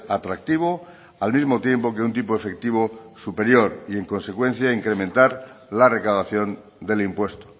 atractivo al mismo tiempo que un tipo efectivo superior y en consecuencia incrementar la recaudación del impuesto